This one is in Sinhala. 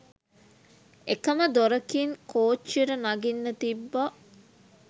එකම දොරකින් කොච්ච්යට නගින්න තිබ්බා